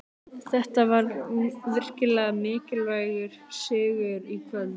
Þetta var virkilega mikilvægur sigur í kvöld.